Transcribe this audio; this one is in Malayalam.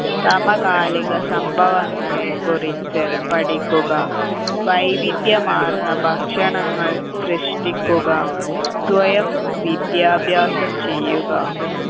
സമകാലിക സംഭവങ്ങളെക്കുറിച്ച് പഠിക്കുക വൈവിധ്യമാർന്ന ഭക്ഷണങ്ങൾ സൃഷ്ടിക്കുക സ്വയം വിദ്യാഭ്യാസം ചെയ്യുക